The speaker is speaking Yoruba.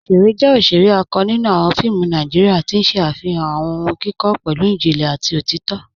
Ọ̀ṣẹ̀rẹ̀ jẹ́ ọ̀ṣẹ̀rẹ̀ àkọ́ nínú awọn fíìmù Nàìjíríà, tí n ṣẹ afihan awọn ọ̀hùn kíkọ pẹ̀lú ìjìnlẹ̀ àti òtìtọ̀.